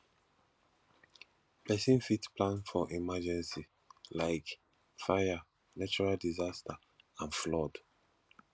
person fit plan for emergency like fire natural disaster and flood